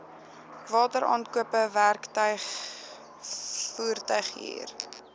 wateraankope werktuig voertuighuur